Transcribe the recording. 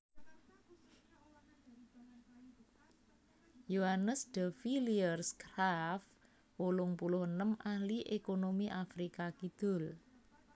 Johannes de Villiers Graaff wolung puluh enem ahli ékonomi Afrika Kidul